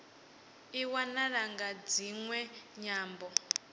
i wanala nga dziṅwe nyambo